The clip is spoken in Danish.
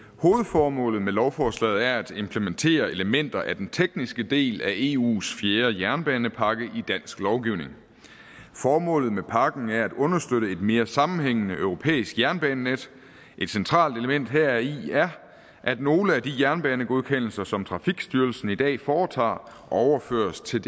hovedformålet med lovforslaget er at implementere elementer af den tekniske del af eus fjerde jernbanepakke i dansk lovgivning formålet med pakken er at understøtte et mere sammenhængende europæisk jernbanenet et centralt element heri er at nogle af de jernbanegodkendelser som trafikstyrelsen i dag foretager overføres til